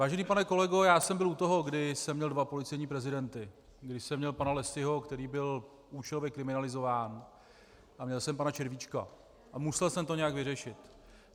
Vážený pane kolego, já jsem byl u toho, kdy jsem měl dva policejní prezidenty, kdy jsem měl pana Lessyho, který byl účelově kriminalizován, a měl jsem pana Červíčka, a musel jsem to nějak vyřešit.